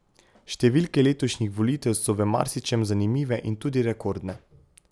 Številke letošnjih volitev so v marsičem zanimive in tudi rekordne.